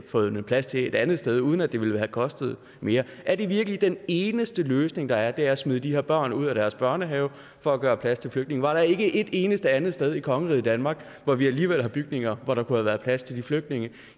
fundet plads til et andet sted uden at det ville have kostet mere er det virkelig den eneste løsning der er at smide de her børn ud af deres børnehave for at gøre plads til flygtninge var der ikke et eneste andet sted i kongeriget danmark hvor vi alligevel har bygninger og hvor der kunne have været plads til de flygtninge